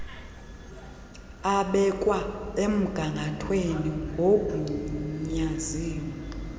abekwa emgangathweni ngoogunyaziwe